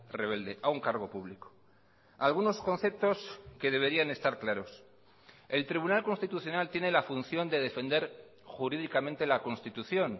rebelde a un cargo público algunos conceptos que deberían estar claros el tribunal constitucional tiene la función de defender jurídicamente la constitución